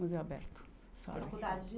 Museu Aberto.